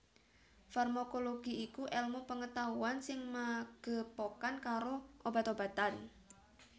Farmakologi iku èlmu pengetahuan sing magepokan karo obat obatan